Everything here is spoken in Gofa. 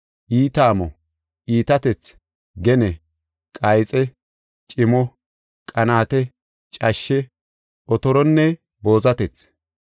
iita amo, iitatethi, gene, qayxe, cimo, qanaate, cashshe, otoronne boozatethi.